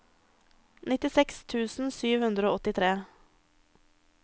nittiseks tusen sju hundre og åttitre